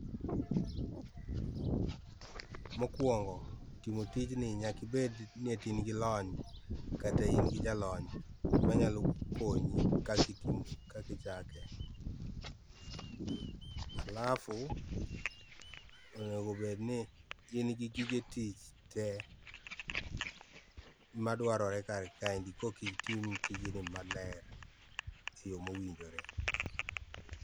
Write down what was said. mokuongo timo tijni nyaka ibedni in eti in gi lony kata in gi jalony manyalo konyi kaka itimo, kaka ichake. alafu onego obedni in gi gige tich tee madwarore kar kaendi korka itim tijni maler e yoo ma owinjore